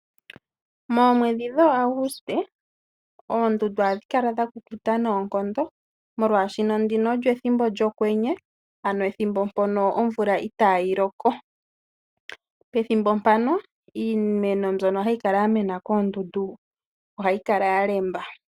Moomwedhi dhooAuguste oondundu ohadhi kala dha kukuta noonkondo, molwaashono ndino olyo ethimbo lyokwenye, ano ethimbo mpono omvula itaayi loko. Pethimbo mpano iimeno mbyono hayi kala ya mena koondundu, ohayi kala ya lemba.